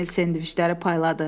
Emil sendviçləri payladı.